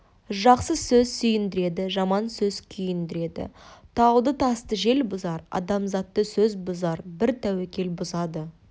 жақсы сөз сүйіндіреді жаман сөз күйіндіреді тауды тасты жел бұзар адамзатты сөз бұзар бір тәуекел бұзады